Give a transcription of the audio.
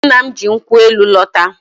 Nna m ji nkwụ elu lọta.